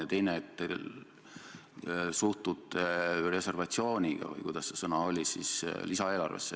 Ja teiseks see, et te suhtute reservatsiooniga – või mis see sõna oli – lisaeelarvesse.